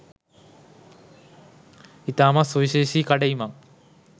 ඉතාමත් සුවිශේෂී කඩඉමක්.